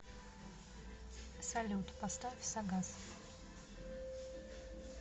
салют поставь сагас